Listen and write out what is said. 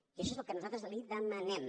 i això és el que nosaltres li demanem